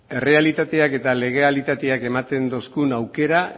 errealitateak eta legalitateak ematen digun aukera